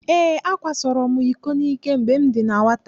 Ee, akwasoro m iko n'ike mgbe m dị na nwata.